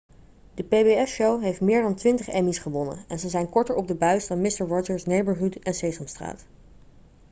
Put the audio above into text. de pbs-show heeft meer dan twintig emmy's gewonnen en ze zijn korter op de buis dan mister rogers' neighborhood en sesamstraat